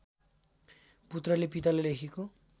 पुत्रले पितालाई लेखेको